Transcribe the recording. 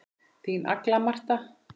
Þín Agla Marta.